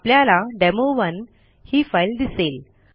आपल्याला डेमो1 ही फाईल दिसेल